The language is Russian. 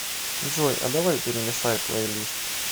джой а давай перемешай плей лист